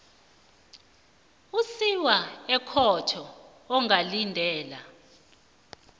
usiwa ekhotho ungalindela